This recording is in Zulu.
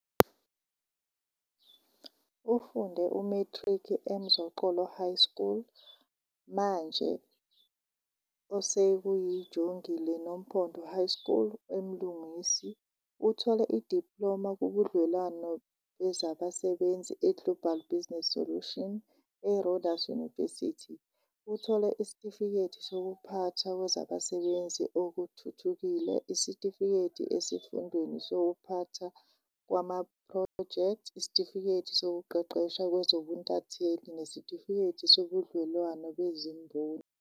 Ufunde u-matric eMzoxolo High School, manje osekuyiJongile Nompondo High School, eMlungisi. Uthole idiploma kubudlelwano bezabasebenzi eGlobal Business Solution. ERhodes University, uthole isitifiketi sokuphathwa kwezabasebenzi okuthuthukile, isitifiketi esifundweni sokuphathwa kwamaphrojekthi, isitifiketi sokuqeqeshwa kwezobuntatheli nesitifiketi sobudlelwano bezimboni.